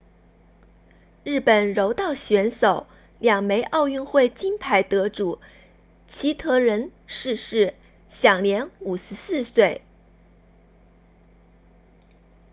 日本柔道选手两枚奥运会金牌得主齐藤仁 hitoshi saito 逝世享年54岁